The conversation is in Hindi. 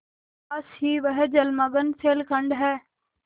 पास ही वह जलमग्न शैलखंड है